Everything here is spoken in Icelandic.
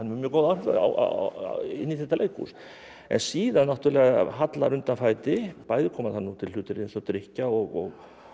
mjög góð áhrif inn í þetta leikhús en síðan náttúrulega hallar undan fæti bæði koma þar til hlutir eins og drykkja og